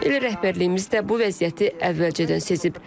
Elə rəhbərliyimiz də bu vəziyyəti əvvəlcədən sezib.